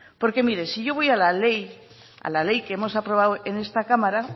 mire si yo voy a la ley que hemos aprobado en esta cámara